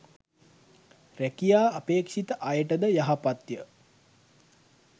රැකියා අපේක්ෂිත අයටද යහපත්ය.